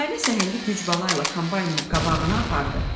Nailə səhəngi güc bala ilə kombaynın qabağına apardı.